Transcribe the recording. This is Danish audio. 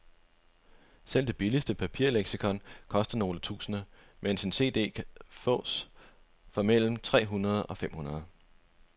Selv det billigste papirleksikon koster nogle tusinde, mens en cd kan fås for mellem tre hundrede og fem hundrede.